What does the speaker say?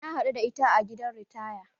Na haɗu da ita a gidan ritaya.